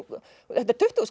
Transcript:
þetta er tuttugu